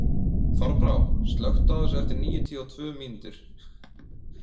Þorbrá, slökktu á þessu eftir níutíu og tvö mínútur.